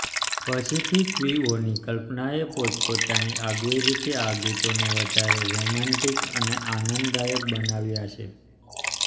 પછીથી કવિઓની કલ્પનાએ પોતપોતાની આગવી રીતે આ ગીતોને વધારે રોમેન્ટિક અને આનંદદાયક બનાવ્યાં છે